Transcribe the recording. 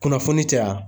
Kunnafoni caya